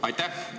Aitäh!